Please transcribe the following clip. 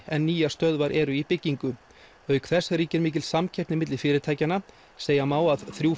en nýjar stöðvar eru í byggingu auk þess ríkir mikil samkeppni milli fyrirtækjanna segja má að þrjú